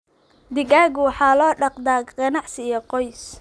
Digaagga waxaa loo dhaqdaa ganacsi iyo qoys.